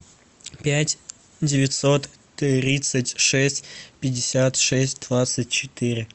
пять девятьсот тридцать шесть пятьдесят шесть двадцать четыре